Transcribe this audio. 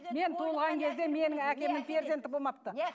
мен туылған кезде менің әкемнің перзенті болмапты